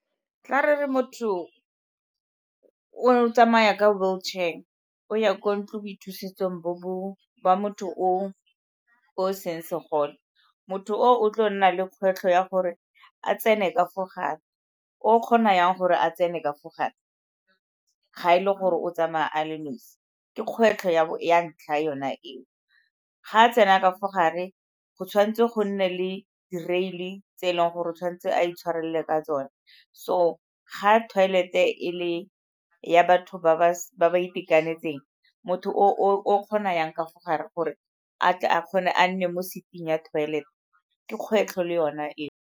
Tla re re motho o tsamaya ka wheel chair, o ya kwa ntloboithusetsong ba motho o o seng segole, motho o tlo go nna le kgwetlho ya gore a tsene ka fo gare, o kgona yang gore a tsene ka fo gape ga e le gore o tsamaya a le nosi, ke kgwetlho ya ntlha yona eo. Ga a tsena ka fo gare, go tshwanetse go nne le di rail-e tse e leng gore o tshwanetse a intshwarele ka tsone, so ga toilet-e e le ya batho ba ba itekanetseng, motho kgona yang ka fo gare gore a tle a kgone a nne mo seat-ing ya mo toilet, ke kgwetlho le yona eo.